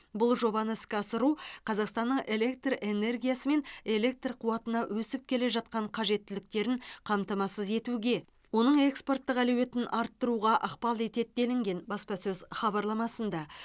бұл жобаны іске асыру қазақстанның электр энергиясы мен электр қуатына өсіп келе жатқан қажеттіліктерін қамтамасыз етуге оның экспорттық әлеуетін арттыруға ықпал етеді делінген баспасөз хабарламасында